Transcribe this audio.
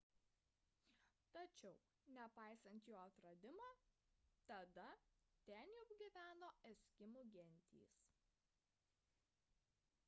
tačiau nepaisant jo atradimo tada ten jau gyveno eskimų gentys